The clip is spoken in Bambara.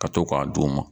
Ka to k'a d'u ma